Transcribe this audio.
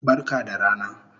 Barka da rana